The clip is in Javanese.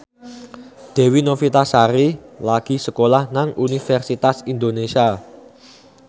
Dewi Novitasari lagi sekolah nang Universitas Indonesia